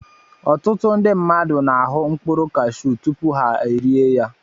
Ọtụtụ ndị mmadụ na-ahụ mkpụrụ cashew tupu ha erie ya